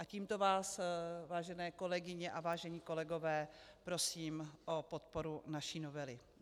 A tímto vás, vážené kolegyně a vážení kolegové, prosím o podporu naší novely.